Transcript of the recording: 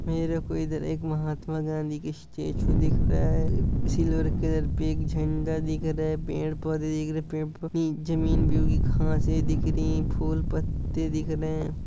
मेरे को इधर एक महात्मा गांधी की स्टेच्यू दिख रहा है सिल्वर कलर पे एक झंडा दिख रहा है पेड़ पौधे दिख रहे है पेड़ फल जमीन पे उगी घांस है दिख रही है फूल त्ते दिख रहे है।